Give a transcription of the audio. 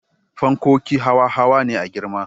Fankoki hawa hawa ne a girma